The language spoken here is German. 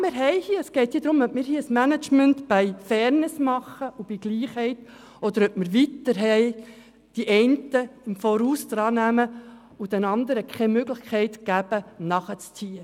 Ja, es geht darum, ob wir uns für ein «management by fairness» entscheiden, oder ob wir weiterhin einigen den Vorrang gewähren und den anderen keine Möglichkeit geben, nachzuziehen.